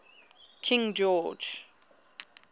king george